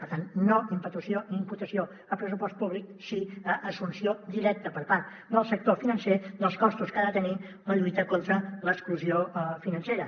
per tant no imputació a pressupost públic sí a l’assumpció directa per part del sector financer dels costos que ha de tenir la lluita contra l’exclusió financera